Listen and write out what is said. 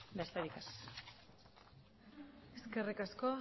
besterik ez eskerrik asko